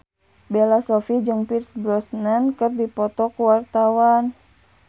Bella Shofie jeung Pierce Brosnan keur dipoto ku wartawan